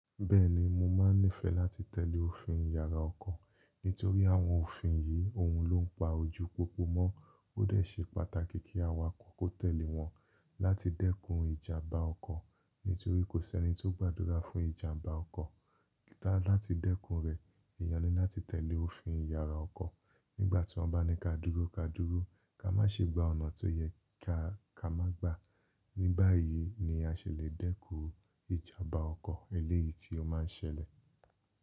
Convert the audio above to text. Bẹ́ẹ̀ni mo máa nífẹ̀ẹ́ láti tẹ̀lé òfin yàrá ọkọ̀ nítorí àwọn òfin yìí ohun ló ń pa ojú pópó mọ́. Ó dẹ̀ ṣe pàtàkì kí awakọ̀ kó tẹ̀lé wọn láti dẹ́kun ìjàmbá ọkọ̀ nítorí kò sí ẹni tó gbàdúrà fún ìjàmbá ọkọ̀. Láti dẹ́kun rẹ̀, èèyàn ní láti tẹ̀lé òfin yàrá ọkọ̀ nígbà tí wọ́n bá ní ká dúró ká dúró, ká má ṣe gba ọ̀nà tó yẹ ká má gbà. Ní báyìí ni a ṣèlẹ̀ dẹ́kun ìjàmbá ọkọ̀ eléyìí tí ó máa ń ṣẹlẹ̀.